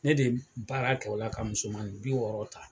Ne de baara t'o la ka musomani bi wɔɔrɔ ta